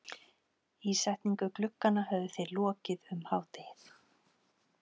Ísetningu glugganna höfðu þeir lokið um hádegið.